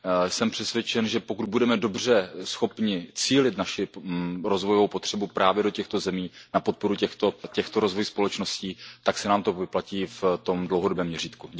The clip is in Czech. Jsem přesvědčen, že pokud budeme dobře schopni cílit naši rozvojovou pomoc právě do těchto zemí a na podporu těchto rozvojových společností, tak se nám to vyplatí v tom dlouhodobém měřítku.